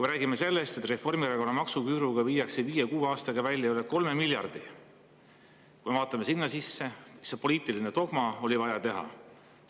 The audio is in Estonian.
Me räägime sellest, et Reformierakonna maksuküüruga viiakse viie-kuue aastaga välja üle 3 miljardi, ja kui me vaatame sinna sisse, siis näeme, et see on poliitiline dogma, mis oli vaja ära teha.